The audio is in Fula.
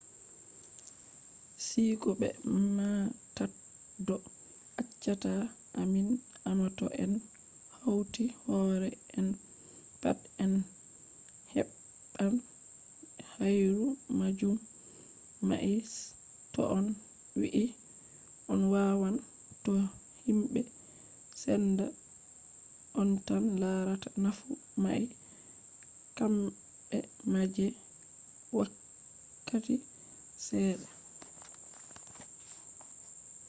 siiko be maataddo accata ammin amma to en hauti hoore en pat en heɓɓan hayru majum amma to on wi'i on ɗawan to himɓe senda on tan larata nafu mai kamɓe ma je wakkati seɗɗa